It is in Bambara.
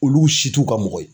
Olu si t'u ka mɔgɔ ye.